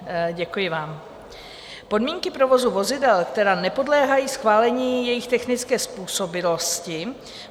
Podmínky provozu vozidel, které nepodléhají schválení jejich technické způsobilosti.